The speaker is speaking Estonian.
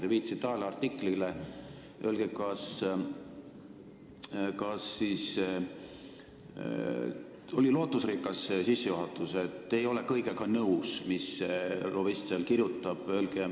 Te viitasite ajaleheartiklile ja oli lootusrikas sissejuhatus, et te ei ole nõus kõigega, mis lobist seal kirjutab.